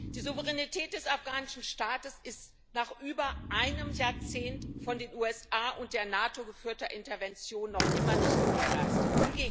Die Souveränität des afghanischen Staates ist nach über einem Jahrzehnt von den USA und der NATO geführter Interventionen noch immer nicht gewährleistet.